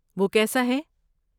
وہ کیسا ہے؟